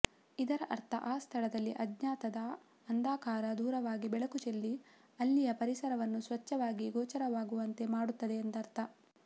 ಇದರ ಅರ್ಥ ಆ ಸ್ಥಳದಲ್ಲಿ ಅಜ್ಞಾನದ ಅಂಧಕಾರ ದೂರವಾಗಿ ಬೆಳಕು ಚೆಲ್ಲಿ ಅಲ್ಲಿಯ ಪರಿಸರವನ್ನು ಸ್ವಚ್ಛವಾಗಿ ಗೋಚರವಾಗುವಂತೆ ಮಾಡುತ್ತದೆ ಎಂದರ್ಥ